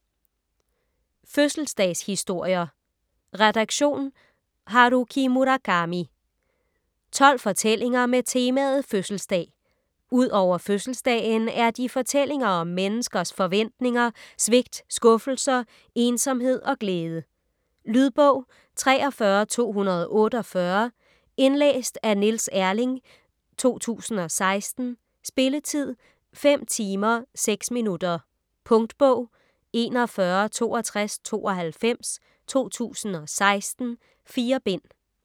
Fødselsdagshistorier Redaktion: Haruki Murakami 12 fortællinger med temaet fødselsdag. Ud over fødselsdagen er de fortællinger om menneskers forventninger, svigt, skuffelser, ensomhed og glæde. Lydbog 43248 Indlæst af Niels Erling, 2016. Spilletid: 5 timer, 6 minutter. Punktbog 416292 2016. 4 bind.